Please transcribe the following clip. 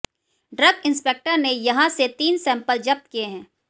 drug inspector ने यहां से तीन सेम्पल जब्त किए है